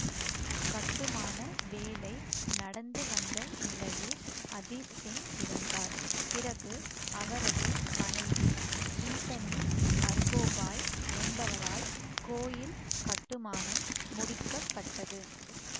கட்டுமான வேலை நடந்துவந்த நிலையில் அதீஸ்சிங் இறந்தார் பிறகு அவரது மனைவி சீதனி அர்கோபாய் என்பவரால் கோயில் கட்டுமானம் முடிக்க பட்டது